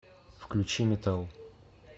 включи метал